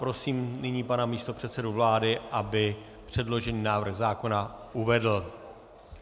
Prosím nyní pana místopředsedu vlády, aby předložený návrh zákona uvedl.